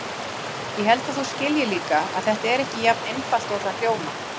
Ég held að þú skiljir líka að þetta er ekki jafn einfalt og það hljómar.